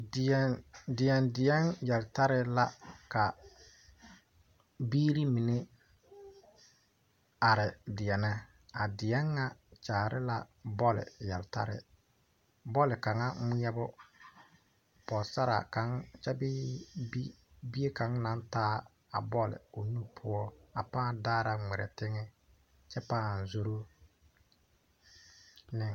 Deɛŋ deɛŋ deɛŋ yeltarre la ka biire mine are deɛnɛ a deɛŋ ŋa kyaare la bɔle yeltarre bɔle kaŋa ngmɛɛbo pɔɔsaraa kaŋ kyɛ bee bi bie kaŋ naŋ taa a bɔle o nu poɔ a pãã daara ngmirɛ teŋɛ kyɛ pãã zoro ne.